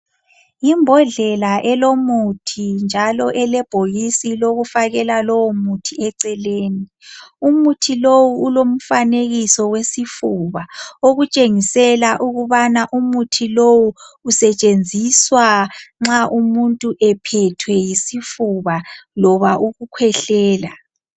Yimbodlela elomuthi njalo elebhokisi lokufakela lowomuthi eceleni. Umuthi lowu ulomfanekiso wesifuba okutshengisela ukubana umuthi lowu usetshenziswa nxa umuntu ephethwe yisifuba loba ukukhwehlela.